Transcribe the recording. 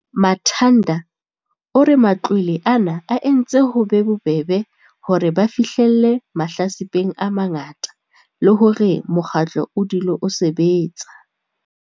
Manthada o re matlole a na a entse ho be bobebe hore ba fihlelle mahlatsipeng a mangata le hore mokgatlo o dule o sebetsa.